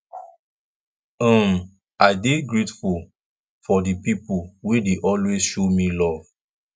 um i dey grateful for di pipo wey dey always show me luv